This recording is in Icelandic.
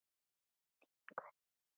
Þín Guðný Ósk.